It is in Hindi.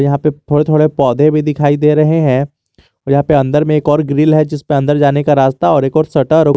यहां पे थोड़े थोड़े पौधे भी दिखाई दे रहे हैं यहां पे अंदर में एक और ग्रिल है जिसपे अंदर जाने का रास्ता और एक और सटर --